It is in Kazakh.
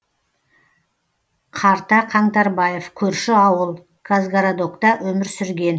қарта қаңтарбаев көрші ауыл казгородокта өмір сүрген